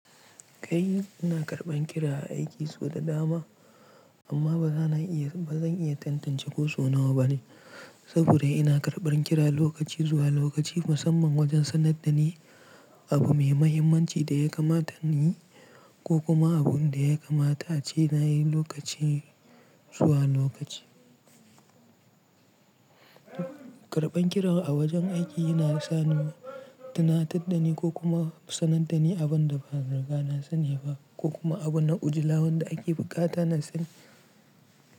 Kai, ina karɓan kira a aiki sau da dama amma ba zan iya, ba zan iya tantance ko sau nawa bane saboda ina karɓan kira lokaci zuwa lokaci musamman wajen sanar da ni abu mai mahimmanci da ya kamata ni ko kuma abun da ya kamata a ce na yi lokaci zuwa lokaci. Karɓan kiran a wajen aiki yana sa ni tuna taddani ko kuma sanar da ni abin da ba riga na sani ba ko kuma abu na ujila wanda ake buƙata na sani.